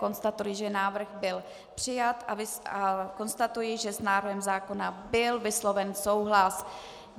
Konstatuji, že návrh byl přijat, a konstatuji, že s návrhem zákona byl vysloven souhlas.